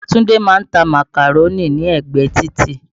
Ìyá Túndé ma ń ta màkàró lẹ́gbẹ̀ẹ títì.